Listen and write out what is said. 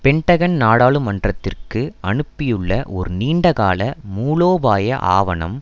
Pentagon நாடாளுமன்றத்திற்கு அனுப்பியுள்ள ஒரு நீண்டகால மூலோபாய ஆவணம்